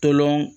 Tolɔn